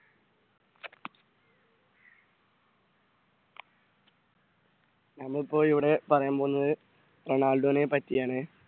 ഇന്ന്ഇപ്പോൾ ഇവിടെ പറയാൻ പോകുന്നത് റൊണാൾഡോ നെ പറ്റിയാണ്